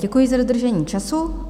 Děkuji za dodržení času.